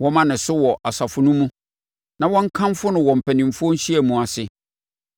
Wɔmma ne so wɔ asafo no mu na wɔnkamfo no wɔ mpanimfoɔ nhyiamu ase.